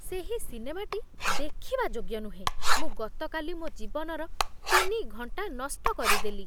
ସେହି ସିନେମାଟି ଦେଖିବା ଯୋଗ୍ୟ ନୁହେଁ। ମୁଁ ଗତକାଲି ମୋ ଜୀବନର ତିନି ଘଣ୍ଟା ନଷ୍ଟ କରିଦେଲି।